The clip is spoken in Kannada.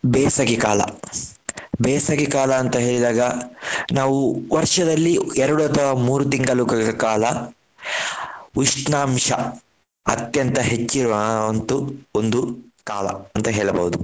ಬೇಸಗೆಕಾಲ ಬೇಸಗೆಕಾಲ ಅಂತ ಹೇಳಿದಾಗ ನಾವು ವರ್ಷದಲ್ಲಿ ಎರಡು ಅಥವಾ ಮೂರು ತಿಂಗಳುಗಳು ಕಾಲ ಉಷ್ಣಾಂಶ ಅತ್ಯಂತ ಹೆಚ್ಚಿರುವ ಆ ಒಂದು ಕಾಲ ಅಂತ ಹೇಳಬಹುದು.